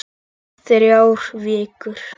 Þrjár vikur.